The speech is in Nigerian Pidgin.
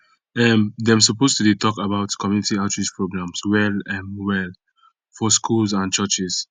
um dem suppose to de talk about community outreach programs well um well for schools and churches